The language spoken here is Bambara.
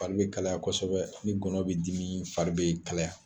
Fari bɛ be kalaya kosɛbɛ ni gɔɔnɔn bɛ dimi, fari bɛ kalaya